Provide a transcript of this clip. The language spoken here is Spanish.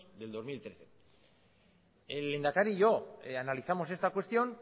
del dos mil trece el lehendakari y yo analizamos esta cuestión